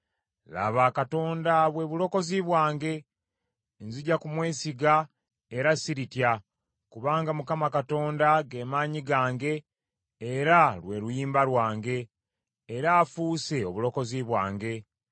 Laba Katonda bwe bulokozi bwange; nzija kumwesiga era siritya; kubanga Mukama Katonda ge maanyi gange era lwe luyimba lwange, era afuuse obulokozi bwange.”